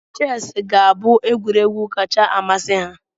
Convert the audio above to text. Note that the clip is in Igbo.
Chess ga-abụ egwuregwu kacha amasị ha.